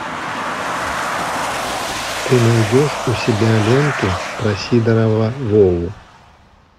ты найдешь у себя ленту про сидорова вову